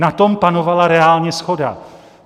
Na tom panovala reálně shoda.